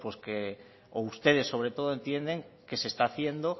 o ustedes sobretodo entienden que se está haciendo